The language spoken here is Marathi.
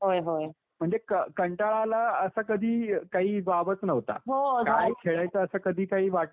म्हणजे कंटाळा आला, असं कधी काही वावच नव्हता. काय खेळायचं असं कधी काही वाटलंच नाही म्हणजे.